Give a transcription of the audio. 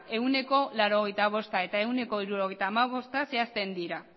ehuneko laurogeita bosta eta ehuneko hirurogeita hamabosta zehazten dira